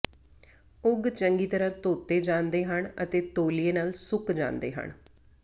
ਉਗ ਚੰਗੀ ਤਰ੍ਹਾਂ ਧੋਤੇ ਜਾਂਦੇ ਹਨ ਅਤੇ ਤੌਲੀਏ ਨਾਲ ਸੁੱਕ ਜਾਂਦੇ ਹਨ